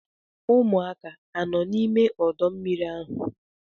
Ụmụaka anọ n'ime ọdọ mmiri ahụ?